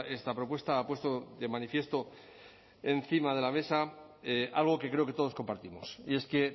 esta propuesta ha puesto de manifiesto encima de la mesa algo que creo que todos compartimos y es que